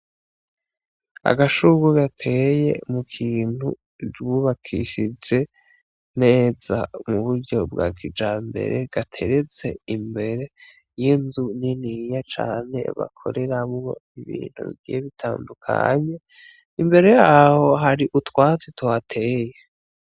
Agashurwe gateye mukintu bubakishije neza m'uburyo bwa kijambere, gateretse imbere y'inzu niniya cane bakoreramwo ibintu bitandukanye, imbere yaho hari utwatsi tuhateye.